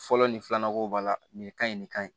Fɔlɔ nin filanan ko b'a la nin ka ɲi nin ka ɲi